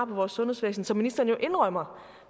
vores sundhedsvæsen som ministeren jo indrømmer